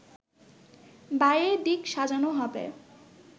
বাইরের দিক সাজানো হবে